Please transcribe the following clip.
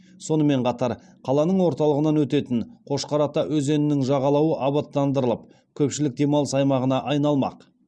сонымен қатар қаланың орталығынан өтетін қошқар ата өзенінің жағалауы абаттандырылып көпшілік демалыс аймағына айналмақ